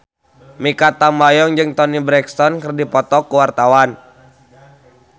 Mikha Tambayong jeung Toni Brexton keur dipoto ku wartawan